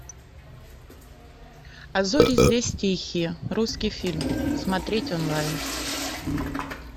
а зори здесь тихие русский фильм смотреть онлайн